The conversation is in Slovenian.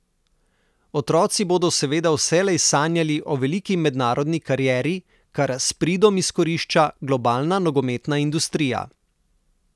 Otroci bodo seveda vselej sanjali o veliki mednarodni karieri, kar s pridom izkorišča globalna nogometna industrija.